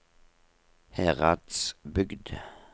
Heradsbygd